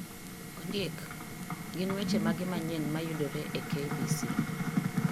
Ondiek gin weche mage manyien mayudore e k. b. c.